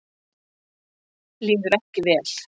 Líður ekki vel.